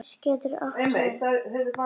Ís getur átt við